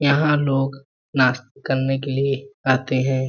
यहाँ लोग नास्ता करने के लिए आते हैं।